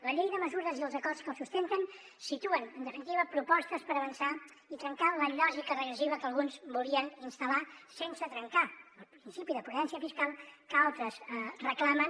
la llei de mesures i els acords que la sustenten situen en definitiva propostes per avançar i trencar la lògica regressiva que alguns volien instal·lar sense trencar el principi de prudència fiscal que altres reclamen